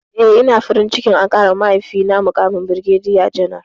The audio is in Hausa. Eh, ina farin ciki an ƙarawa mahaifina muƙamin birgediya janar.